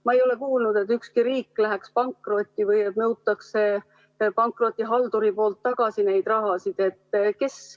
Ma ei ole kuulnud, et ükski riik läheks pankrotti või et pankrotihaldur nõuaks seda raha tagasi.